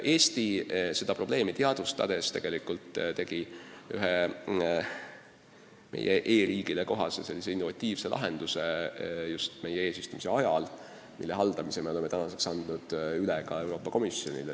Eesti tegi seda probleemi teadvustades meie eesistumise ajal ühe e-riigile kohase innovatiivse lahenduse, mille haldamise me oleme nüüd Euroopa Komisjonile üle andnud.